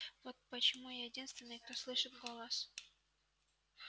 вот почему я единственный кто слышит голос